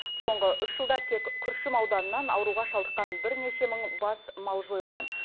соңғы үш жылда тек күршім ауданынан ауруға шалдыққан бірнеше мың бас мал жойылған